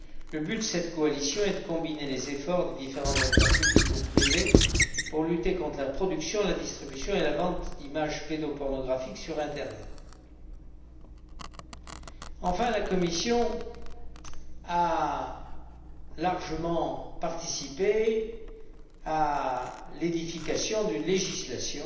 Le but de cette coalition est de combiner les efforts de différents acteurs publics et privés pour lutter contre la production, la distribution et la vente d'images pédopornographiques sur Internet. Enfin, la Commission a largement participé à l'édification d'une législation